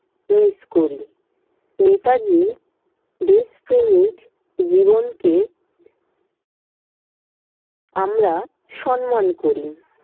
miss করি। নেতাজির দেশপ্রেমিক জীবনকে আমরা সন্মান করি।